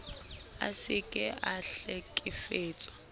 a se ke a hlekefetsa